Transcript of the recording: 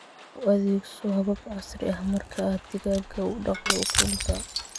U adeegso habab casri ah marka aad digaagga u dhaqdo ukunta.